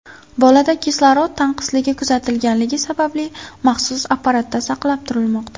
Bolada kislorod tanqisligi kuzatilganligi sababli maxsus apparatda saqlab turilmoqda.